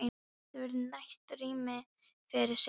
Það verður nægt rými fyrir sauðina.